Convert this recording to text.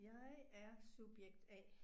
Jeg er subjekt A